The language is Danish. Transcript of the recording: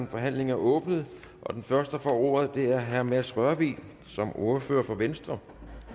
forhandlingen er åbnet den første der får ordet er herre mads rørvig som ordfører for venstre